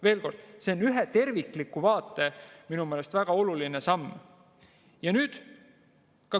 Veel kord: see on minu meelest väga oluline samm ühe tervikliku vaate jaoks.